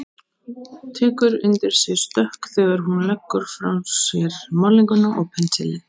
Tekur undir sig stökk þegar hún leggur frá sér málninguna og pensilinn.